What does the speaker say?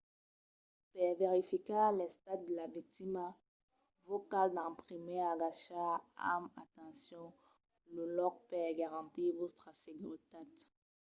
per verificar l’estat de la victima vos cal d’en primièr agachar amb atencion lo lòc per garantir vòstra seguretat